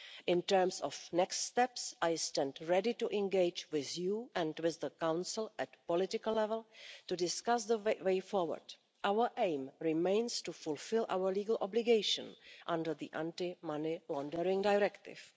In terms of the next steps, I stand ready to engage with you and with the Council at political level to discuss the way forward. Our aim remains to fulfil our legal obligation under the Anti-Money Laundering Directive.